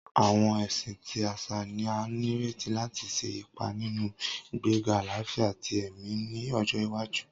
Awọn ẹsin ti aṣa ni a nireti lati ṣe ipa ninu igbega alafia ti ẹmi ni ọjọ iwaju.